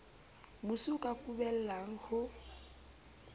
mosi o ka kubellang ho